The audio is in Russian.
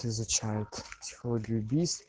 изучают технологию убийств